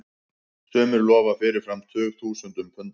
Sumir lofa fyrirfram tugþúsundum punda.